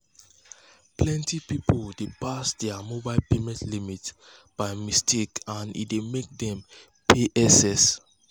plenty people dey pass their mobile payment limit by mistake and e dey make dem pay excess